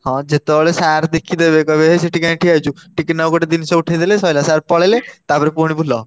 ହଁ ଯେତବେଳେ sir ଦେଖିଦେବେ କହିବେ ଏ ସେଠି କାଇଁ ଠିଆ ହେଇଛୁ। ଟିକେ ନାକୁ ଗୋଟେ ଜିନିଷ ଉଠେଇଦେଲେ ସଇଲା sir ପଳେଇଲେ ତାପରେ ପୁଣି ବୁଲ।